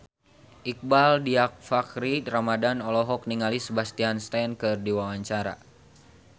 Iqbaal Dhiafakhri Ramadhan olohok ningali Sebastian Stan keur diwawancara